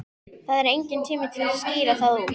Það er enginn tími til að skýra það út.